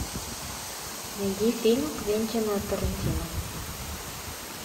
найди фильм квентина тарантино